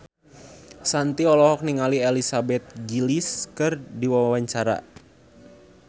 Shanti olohok ningali Elizabeth Gillies keur diwawancara